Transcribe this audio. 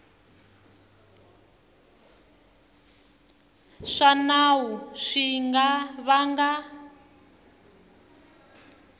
swa nawu swi nga vanga